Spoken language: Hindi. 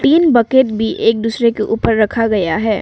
तीन बकेट भी एक दूसरे रखा गया है।